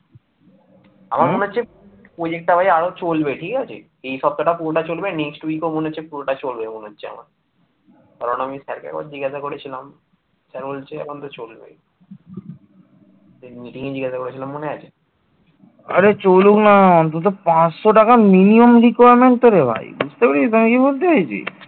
আরে চলুক না তুই তো পাঁচশো টাকা minimum requirement থাকে ভাই বুঝতে পেরেছিস আমি কি বলতে চাইছি